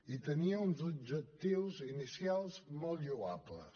i tenia uns objectius inicials molt lloables